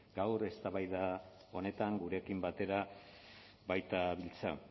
gaur eztabaida honetan gurekin batera baitabiltza